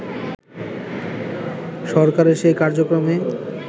সরকারের সেই কার্যক্রমে